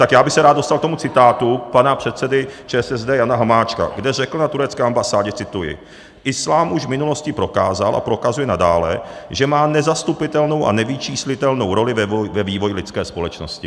Tak já bych se rád dostal k tomu citátu pana předsedy ČSSD Jana Hamáčka, kde řekl na turecké ambasádě - cituji: "Islám už v minulosti prokázal a prokazuje nadále, že má nezastupitelnou a nevyčíslitelnou roli ve vývoji lidské společnosti."